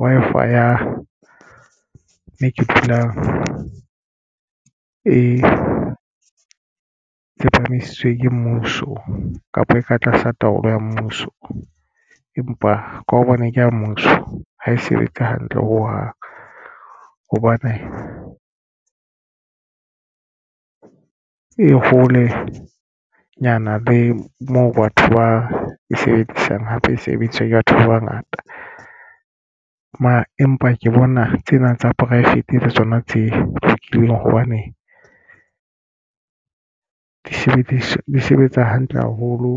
Wi-Fi ya moo ke dulang e tsepamisitswe ke mmuso kapa e ka tlasa taolo ya mmuso empa ka hobane ke ya mmuso ha e sebetse hantle ho hang hobane e holenyana le moo batho ba e sebedisang hape e sebediswa ke batho ba bangata mo. Empa ke bona tsena tsa poraefete tsona tse lokileng hobane di sebedisa di sebetsa hantle haholo